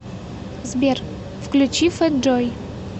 сбер включи фэт джой